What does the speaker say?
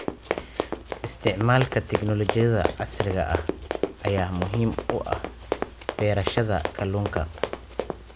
Isticmaalka tignoolajiyada casriga ah ayaa muhiim u ah beerashada kalluunka.